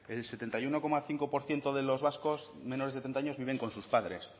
el setenta y uno coma cinco por ciento de los vascos menores de treinta años viven con sus padres